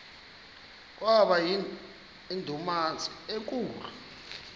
kwaba yindumasi enkulu